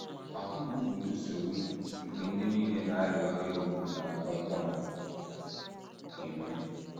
Ahụ mgbu bụ nsogbu nke ndị nile na - arịa ọrịa ogbu na nkwonkwo na - enwe.